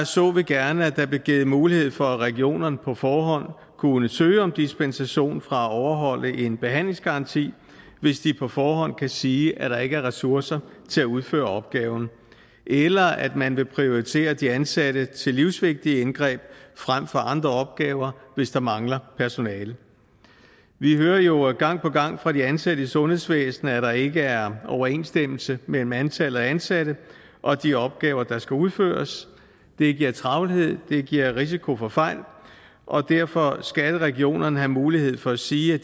så vi gerne at der blev givet mulighed for at regionerne på forhånd kunne søge om dispensation fra at overholde en behandlingsgaranti hvis de på forhånd kan sige at der ikke er ressourcer til at udføre opgaven eller at man vil prioritere de ansatte til livsvigtige indgreb frem for andre opgaver hvis der mangler personale vi hører jo gang på gang fra de ansatte i sundhedsvæsenet at der ikke er overensstemmelse mellem antallet af ansatte og de opgaver der skal udføres det giver travlhed det giver risiko for fejl og derfor skal regionerne have mulighed for at sige at